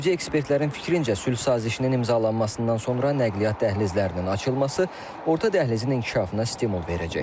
Gürcü ekspertlərin fikrincə, sülh sazişinin imzalanmasından sonra nəqliyyat dəhlizlərinin açılması orta dəhlizin inkişafına stimul verəcək.